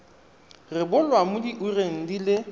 rebolwa mo diureng di le